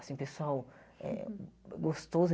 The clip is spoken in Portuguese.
Assim, o pessoal é gostoso.